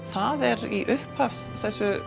það er í þessu